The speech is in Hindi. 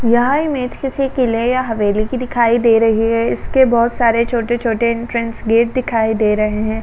यह इमेज किसी किले या हवेली की दिखाई दे रही है इसके बहोत सारे छोटे-छोटे एंट्रेंस गेट दिखाई दे रहे हैं।